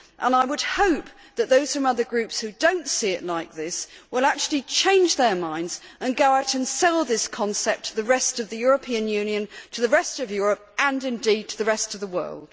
I would hope that those in other Groups who do not see it like this will actually change their minds and go out and sell this concept to the rest of the European Union, to the rest of Europe, and indeed to the rest of the world.